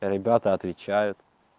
ребята отвечают